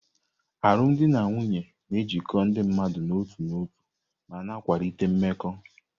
Alụmdi na nwunye na-ejikọ ndị mmadụ n'otu n'otu ma na-akwalite mmekọ.